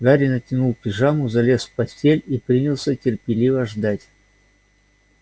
гарри натянул пижаму залез в постель и принялся терпеливо ждать